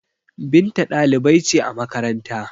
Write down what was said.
Binta dalibai ce a makaranta